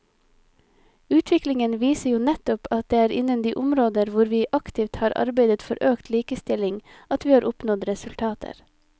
Utviklingen viser jo nettopp at det er innen de områder hvor vi aktivt har arbeidet for økt likestilling at vi har oppnådd resultater.